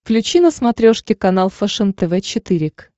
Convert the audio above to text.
включи на смотрешке канал фэшен тв четыре к